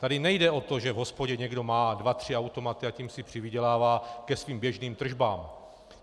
Tady nejde o to, že v hospodě někdo má dva tři automaty a tím si přivydělává ke svým běžným tržbám.